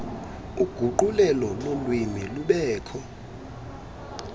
uguqulelo lolwimi lubekho